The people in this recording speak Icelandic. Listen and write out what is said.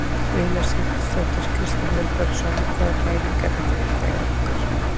Una Sighvatsdóttir: Kristinn Vilbergsson hvaða pæling er þetta hérna hjá ykkur?